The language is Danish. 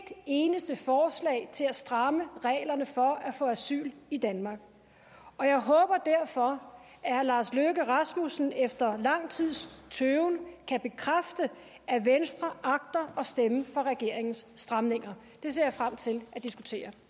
eneste forslag til at stramme reglerne for at få asyl i danmark og jeg håber derfor at herre lars løkke rasmussen efter lang tids tøven kan bekræfte at venstre agter at stemme for regeringens stramninger det ser jeg frem til at diskutere